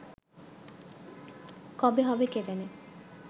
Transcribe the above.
কবে হবে কে জানে